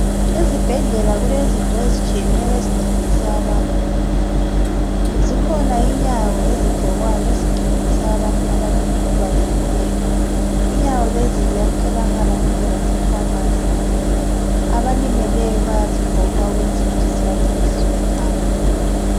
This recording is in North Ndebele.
Ezibhedlela kulezinto ezitshiyeneyo ezincedisa abantu. Zikhona inyawo ezigqokwayo ezincedisa abantu abakhubazekileyo. Inyawo lezi ziyatholakala konke laseKhemisi. Abalimeleyo bayazigqoka ukwenzela ukuthi zibancedise ukuhamba.